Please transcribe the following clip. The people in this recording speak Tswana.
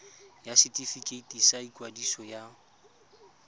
ya setefikeiti sa ikwadiso ya